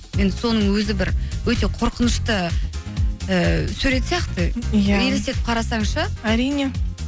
енді соның өзі бір өте қорқынышты ыыы сурет сияқты иә елестетіп қарасаң ше әрине